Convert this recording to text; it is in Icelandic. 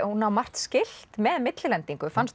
hún á margt skylt með millilendingu fannst